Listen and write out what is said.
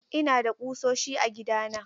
Ina da kusoshi a gidana.